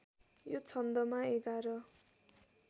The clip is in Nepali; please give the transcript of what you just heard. यो छन्दमा एघार